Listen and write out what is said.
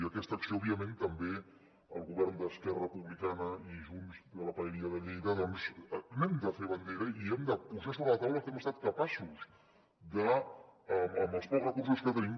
i d’aquesta acció òbviament també el govern d’esquerra republicana i junts de la paeria de lleida doncs n’hem de fer bandera i hem de posar sobre la taula el que hem estat capaços de amb els pocs recursos que tenim